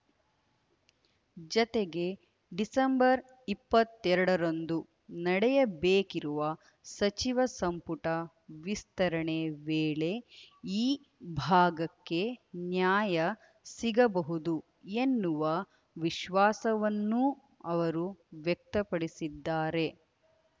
ಜತೆಗೆ ಡಿಸೆಂಬರ್ ಇಪ್ಪತ್ತೆರಡರಂದು ನಡೆಯಬೇಕಿರುವ ಸಚಿವ ಸಂಪುಟ ವಿಸ್ತರಣೆ ವೇಳೆ ಈ ಭಾಗಕ್ಕೆ ನ್ಯಾಯ ಸಿಗಬಹುದು ಎನ್ನುವ ವಿಶ್ವಾಸವನ್ನೂ ಅವರು ವ್ಯಕ್ತಪಡಿಸಿದ್ದಾರೆ